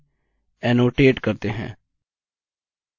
यह directory open करने के लिए है